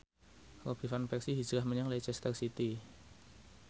Robin Van Persie hijrah menyang Leicester City